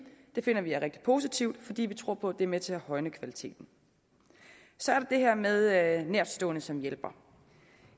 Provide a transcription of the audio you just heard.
at vi finder rigtig positivt fordi vi tror på at det er med til at højne kvaliteten så er det her med nærtstående som hjælpere